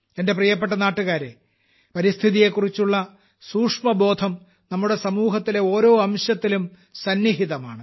എന്റെ പ്രിയപ്പെട്ട നാട്ടുകാരെ പരിസ്ഥിതിയെക്കുറിച്ചുള്ള സൂക്ഷ്മബോധം നമ്മുടെ സമൂഹത്തിലെ ഓരോ അംശത്തിലും ഉണ്ട്